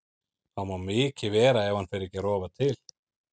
Það má mikið vera ef hann fer ekki að rofa til.